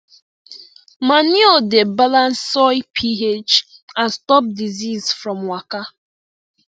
manure dey balance soil ph and stop disease from waka